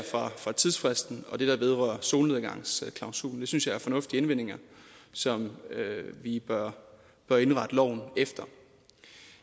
fra tidsfristen og det der vedrører solnedgangsklausulen det synes jeg er fornuftige indvendinger som vi bør bør indrette loven efter